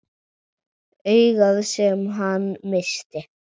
Augað sem hann missti.